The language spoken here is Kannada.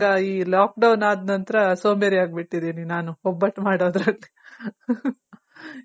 lock down ಅದ್ ನಂತರ ಸೋಂಬೇರಿ ಅಗ್ಬಿಟಿದಿನಿ ನಾನು ಒಬ್ಬಟ್ ಮಾಡೋದ್ರಲ್ಲಿ